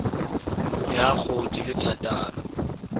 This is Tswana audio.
ya go di le thataro